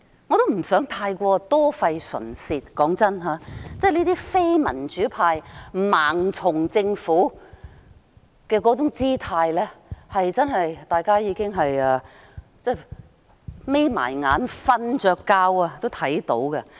我也不想太過多費唇舌，坦白說，這些非民主派盲從政府的姿態，即使大家閉上眼睛睡着了也能看到。